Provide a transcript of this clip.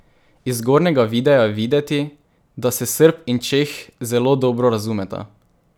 Iz zgornjega videa je videti, da se Srb in Čeh zelo dobro razumeta.